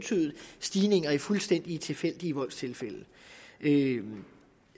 stigning i fuldstændig tilfældige voldstilfælde